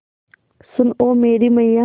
सुन ओ मेरी मैय्या